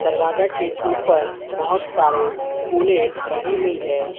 दरवाजा के ऊपर बहोत सारे फूलें लगी हुई है।